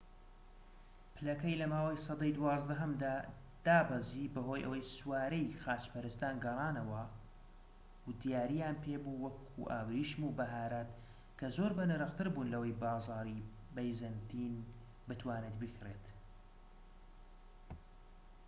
پلەکەی لە ماوەی سەدەی دوازدەهەمدا دابەزی بەهۆی ئەوەی سوارەی خاچپەرستان گەڕانەوە و دیارییان پێبوو وەکو ئاوریشم و بەهارات کە زۆر بەنرختربوون لەوەی بازاڕی بەیزەنتین بتوانێت بیکڕێت